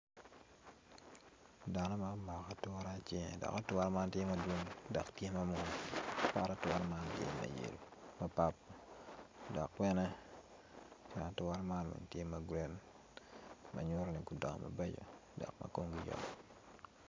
Dano ma omako ature acel dok ature man tye madwong do tye ma papat dok bene ikine ature man tye magreen manyuto ni gudongo mabeco dok ma komgi beco.